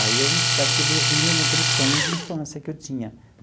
Aí eu, parece que eu vivi naquele sonho de infância que eu tinha.